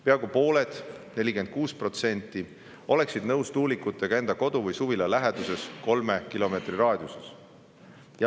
Peaaegu pooled, 46% oleksid nõus tuulikutega enda kodu või suvila läheduses kolme kilomeetri raadiuses.